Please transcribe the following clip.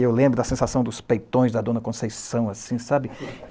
Eu lembro da sensação dos peitões da dona Conceição, assim, sabe?